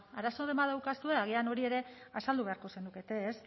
arazoren bat daukazue agian hori ere azaldu beharko zenukete ez